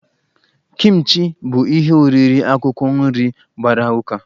Kimchi bụ ihe oriri akwụkwọ nri gbara ụka